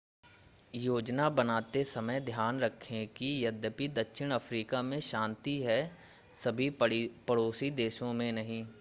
योजना बनाते समय ध्यान रखें कि यद्यपि दक्षिण अफ़्रीका में शांति है सभी पड़ोसी देशों में नहीं